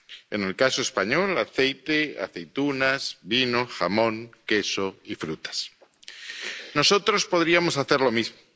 En el caso español aceite, aceitunas, vino, jamón, queso y frutas. Nosotros podríamos hacer lo mismo.